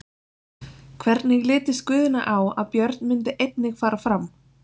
Hvernig litist Guðna á að Björn myndi einnig fara fram?